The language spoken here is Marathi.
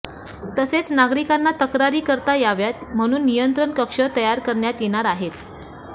तसेच नागरिकांना तक्रारी करता याव्यात म्हणून नियंत्रण कक्ष तयार करण्यात येणार आहे